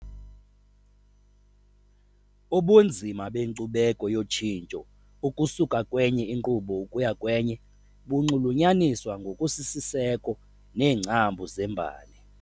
Ubunzima benkcubeko yotshintsho ukusuka kwenye inkqubo ukuya kwenye bunxulunyaniswa ngokusisiseko neengcambu zembali.